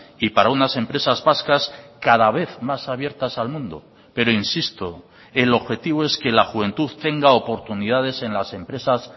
y para unas empresas vascas cada vez más abiertas al mundo pero insisto el objetivo es que la juventud tenga oportunidades en las empresas